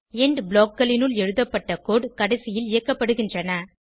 end blockகளினுள் எழுதப்பட்ட code கடைசியில் இயக்கப்படுகின்றன